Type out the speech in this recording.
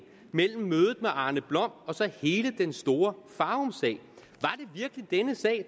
mellem mødet med arne blom og så hele den store farumsag